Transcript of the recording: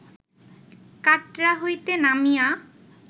কাটরা হইতে নামিয়া